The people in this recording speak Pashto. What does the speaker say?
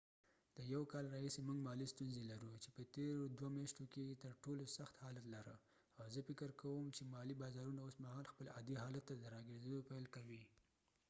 د یو کال راهیسی موږ مالی ستونزی لرو چې په تیرو دوه میاشتو کی یې تر ټولو سخت حالت لره او زه فکر کوم چې مالی بازارونه اوس خپل عادي حالت ته د را ګرځیدو پیل کوي